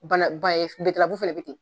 Bana ba ye fɛnɛ bɛ ten.